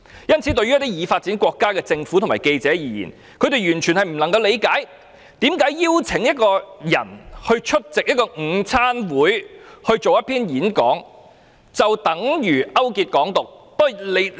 因此，對於一些已發展國家的政府和記者而言，他們完全不能理解為何邀請一個人出席午餐會進行演講，就等於勾結"港獨"。